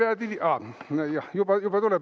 Juba tuleb!